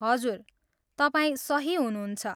हजुर, तपाईँ सही हुनुहुन्छ।